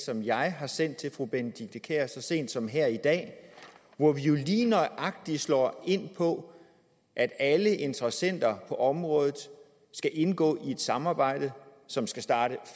som jeg har sendt til fru benedikte kiær så sent som her i dag hvor vi jo lige nøjagtig slår ind på at alle interessenter på området skal indgå i et samarbejde som skal starte